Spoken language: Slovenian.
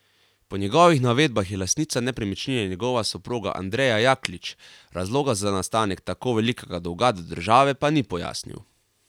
Po njegovih navedbah je lastnica nepremičnine njegova soproga Andreja Jaklič, razloga za nastanek tako velikega dolga do države pa ni pojasnil.